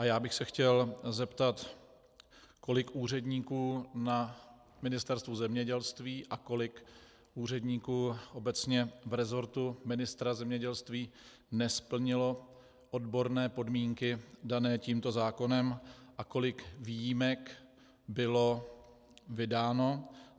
A já bych se chtěl zeptat, kolik úředníků na Ministerstvu zemědělství a kolik úředníků obecně v resortu ministra zemědělství nesplnilo odborné podmínky dané tímto zákonem a kolik výjimek bylo vydáno.